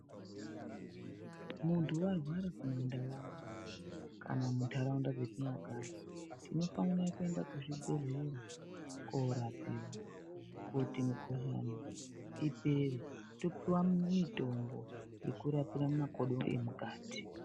Muntu warwara kumandau kana mundaraunda dzatinogara tinofana kenda kuzvibhehlera korapiwa kuti mukuhlani ipere topiwa mitombo yekurapa makodo emukati.